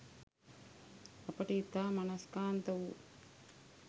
අපට ඉතා මනස්කාන්ත වූ